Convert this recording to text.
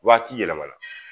Waati yɛlɛma na